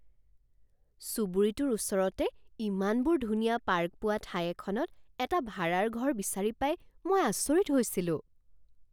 চুবুৰীটোৰ ওচৰতে ইমানবোৰ ধুনীয়া পাৰ্ক পোৱা ঠাই এখনত এটা ভাড়াৰ ঘৰ বিচাৰি পাই মই আচৰিত হৈছিলোঁ।